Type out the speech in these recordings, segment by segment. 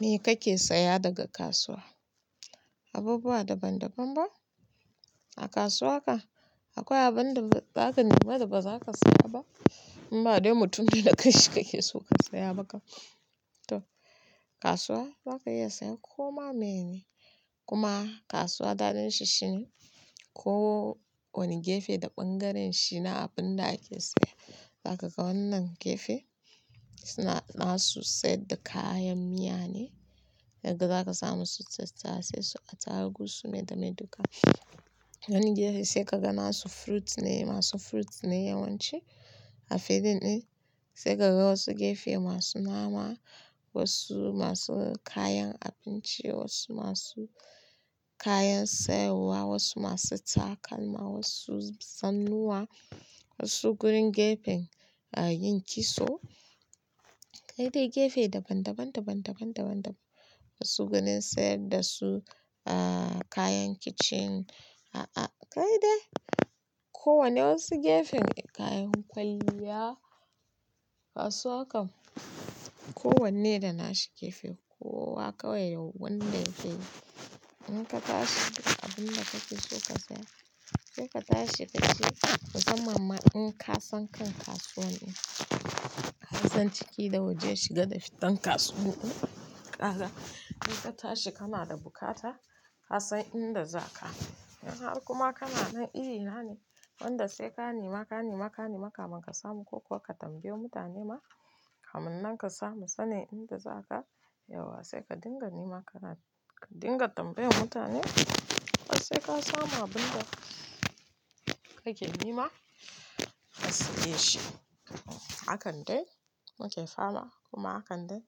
Me kake saya daga kasuwa? Abubuwa daban-daban ba. A kasuwa ka akwai abin da za ka nema da ba za ka saya ba? In ba dai mutum ne da kan shi kake so ka saya ba kam. To kasuwa za ka iya sayan koma meye ne. Kuma kasuwa daɗin shi shine ko wani gefe da bangaren shi na abin da ake saya. Zaka ga wannan gefe su na su saida kayan miya ne, sai ka ga za ka samu su tattasai su atarugu su me da me duka. Wani gefe sai ka ga na su fruit ne masu fruit ne yawanci a filin ɗin. Sai ka ga wasu gefe masu nama, wasu masu kayan abinci, wasu masu kayan sayarwa, wasu masu takalma, wasu zannuwa, wasu gurin gefen a yin kitso. Kai dai gefe daban daban, daban daban, daban daban. Wasu gunin sayar da su a kayan kicin, a a kai dai. Ko wane wasu gefen kayan kwalliya. Kasuwa kam ko wanne da na shi gefe kowa kawai yau wanda zai. In ka tashi da abin da kake so ka saya, sai ka tashi ka je. Kuma ma in ka san kan kasuwan in, ka san ciki da waje shiga da fitan kasuwan in. Kaga in ka tashi kana da bukata, ka san inda za ka. In har kuma kana nan iri hane, wanda sai ka nema, ka nema, ka nema kamar ka samu ko kuwa ka tambayi mutane ma kamin nan ka samu sanin inda za ka. Yauwa sai ka dinga nema kana ka dinga tambayan mutane har sai ka samu abin da kake nema har sai dai shi. Hakan dai muke fama kuma hakan dai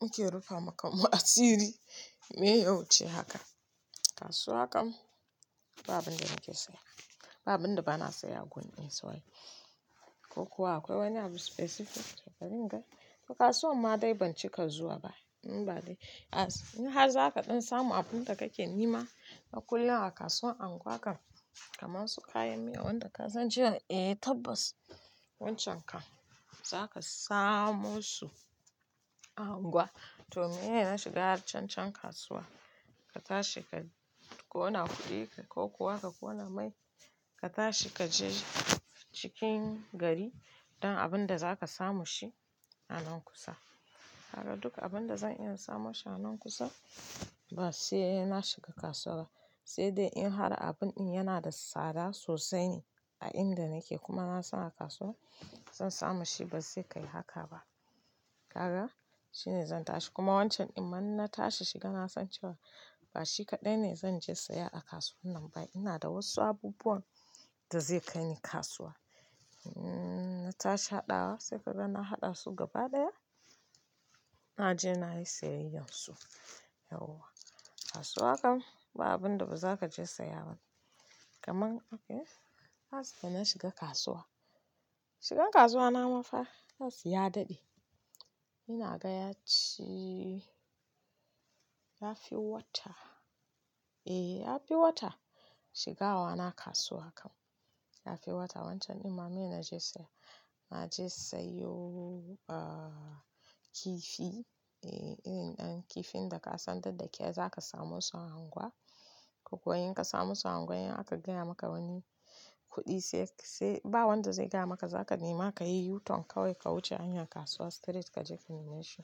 muke rufa ma kanmu asiri. Meye ya wuce haka. Kasuwa kam babu abin da nake saya. Ba abun da bana saya a gun din su ai. Ko kuwa akwai wani abu specific barin in gani. Kasuwa amma dai ban cika zuwa ba. In ba dai-- in har zaka ɗan samu abin da kake nema a kullum a kasuwan unguwan kam. Kamasu kayan miya wanda ka san cewa eh tabbas wancan kam zaka samu su a unguwa. To meye shiga cancan kasuwa. Ka tashi ka ƙona kuɗi ka ko kuwa ka ƙona mai ka tashi ka je cikin gari don abin da za ka samu shi a nan kusa. Haka duk abin da zan iya samun shi a nan kusa ba sai na shiga kasuwa ba. Sai dai in har abin in yana da tsada sosai a inda nake kuma na san a kasuwa zan samu shi ba zai kai haka ba. Kaga, shine zan tashi. Kuma wancan din ma in na tashi shi kan na san cewa ba shi kadai ne zan je siya a kasuwan nan ba akwai wasu abubuwa da zai kai ni kasuwa na tashi haɗawa sai ka ga na haɗa su gaba daya. Na je na yi siyayyar su. Yauwa kasuwa kam babu abin da ba za ka je saya ba. Kaman akai, last time na shiga kasuwa. Shigan kasuwa na mafa last ya daɗe. Ina ga yaci ya fi wata. Eh ya fi wata shiga wa na kasuwa kam. Ya fi wata. Wancan din ma meye na je saya. Na je sayo kifi. Eh irin ɗan kifin da ka san da da kyar za ka samo su a unguwa. Ko kuwa in ka samo su a unguwa in aka gaya maka wani kuɗi sai-- sai-- ba wanda zai gaya maka za ka nema ka yi u-turn kawai ka wuce hanyar kasuwa straight kaje ka nema shi.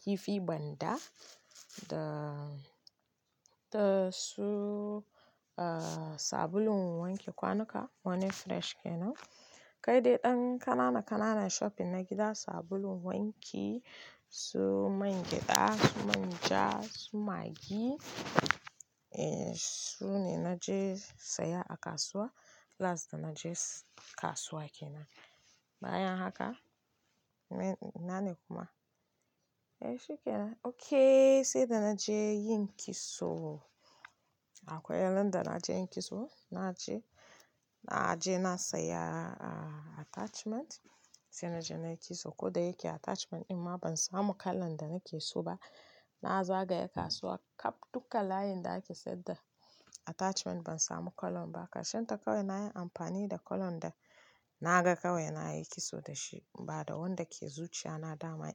Kifi banda da-- da su sabulun wanke kwanuka morning fresh kenan. Kai dai ɗan kanana kanana shopping na gida sabulun wanki, su man gyaɗa, manja su maggi. Sune naje saya a kasuwa Last da na je kasuwa kenan. Bayan haka me-- ina ne kuma? Eh, shikenan. Okayyy, sai da na je yin kitso. Akwai ran da na je yin kitso. Na je, na je na saya attachment. Sai na je na yi kitso. Ko da yake attachment in ma ban samu kalan da nake so ba. Na zagaya kasuwa kaf duka layin da ake sayar da attachment ban samu kalon ba. Karshen ta kawai na yi amfani da kalon da na ga kawai na yi kitso da shi. Bada wanda ke zuciya na dama.